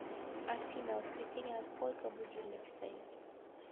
афина в воскресенье на сколько будильник стоит